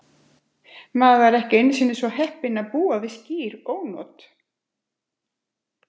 Maðurinn var ekki einu sinni svo heppinn að búa við skýr ónot.